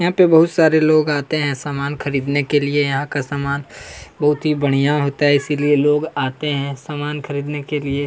यहाँ पर बहुत सारे लोग आते हैं सामान खरीदने के लिए यहाँ का सामान बहुत ही बढ़िया होता है इसीलिए लोग आते हैं सामान खरीदने के लिए--